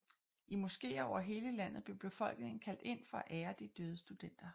I moskéer over hele landet blev befolkningen kaldt ind for at ære de døde studenter